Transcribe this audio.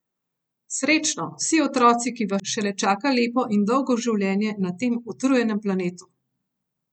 Srečno, vsi otroci, ki vas šele čaka lepo in dolgo življenje na tem utrujenem planetu!